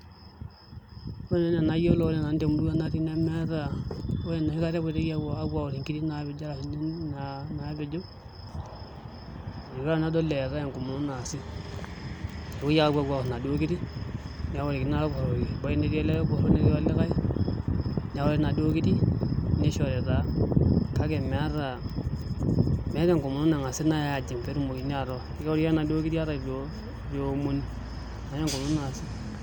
Ore nanu enaa enaayielo ore nanu temurua nemeeta ore enoshi kata epoitoi awor inkiri naapejo itu aikata nanu adol eetae enkomono naasi kepue ake awor inaduo Kiri neworikini nai ilporori ebaiki netii olporor netii olikae newori naaduo Kiri nishori taa kake meeta meeta enkomono nangasi ajing pee etumokini atoor wori ake naduo Kiri ata itu ewomoni meeta enkomono naasi.